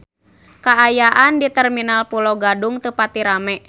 Kaayaan di Terminal Pulo Gadung teu pati rame